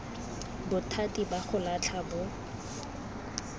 bothati ba go latlha bo